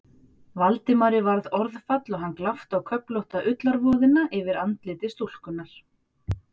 Valdimari varð orðfall og hann glápti á köflótta ullarvoðina yfir andliti stúlkunnar.